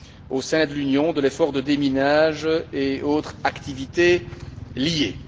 au sein de l'Union, de l'effort de déminage et autres activités liées.